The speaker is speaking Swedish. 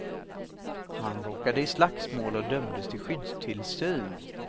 Han råkade i slagsmål och dömdes till skyddstillsyn.